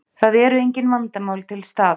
Það eru engin vandamál til staðar